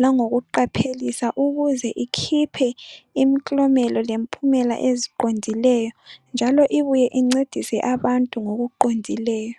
langokuqaphelisa ukuze ikhiphe imiklomela lemphumela eziqondileyo njalo ibuye incedise abantu ngokuqondileyo.